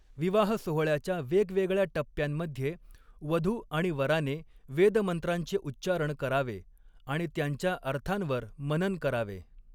विवाह सोहळ्याच्या वेगवेगळ्या टप्प्यांमध्ये वधू आणि वराने वेद मंत्रांचे उच्चारण करावे आणि त्यांच्या अर्थांवर मनन करावे.